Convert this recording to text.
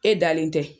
E dalen tɛ